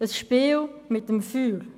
Das ist ein Spiel mit dem Feuer.